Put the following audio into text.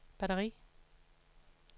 batteri